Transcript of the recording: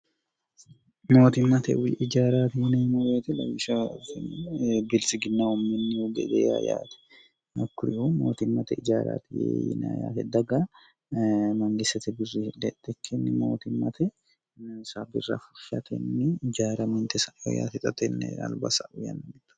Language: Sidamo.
mootimmate ijaaraati yineimo reete lawisha biltsiginahu minnihu gede ya yaate akkuriyu mootimmate ijaaraati yee yina yaate daga mangissete gurri hidheexxe kkinni mootimmatesa birra fuhyatenni jaara mintesa'o yaate xatenni albaasaayannito